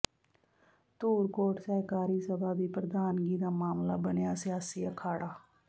ਧੂਰਕੋਟ ਸਹਿਕਾਰੀ ਸਭਾ ਦੀ ਪ੍ਰਧਾਨਗੀ ਦਾ ਮਾਮਲਾ ਬਣਿਆ ਸਿਆਸੀ ਅਖਾੜਾ